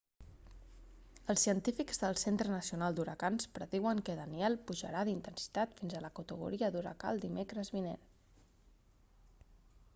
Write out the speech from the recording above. els científics del centre nacional d'huracans prediuen que danielle pujarà d'intensitat fins a la categoria d'huracà el dimecres vinent